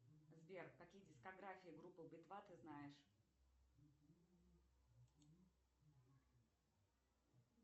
сбер какие дискографии группы би два ты знаешь